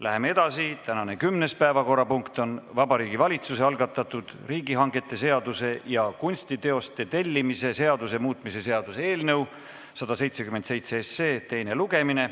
Läheme edasi, tänane kümnes päevakorrapunkt on Vabariigi Valitsuse algatatud riigihangete seaduse ja kunstiteoste tellimise seaduse muutmise seaduse eelnõu 177 teine lugemine.